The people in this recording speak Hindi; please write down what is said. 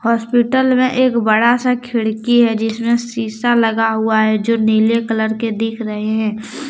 हॉस्पिटल में एक बड़ा सा खिड़की है जिसमें शीशा लगा हुआ है जो नीले कलर के दिख रहे है।